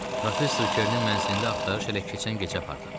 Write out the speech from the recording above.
Professor Kernin mənzilində axtarış elə keçən gecə aparılıb.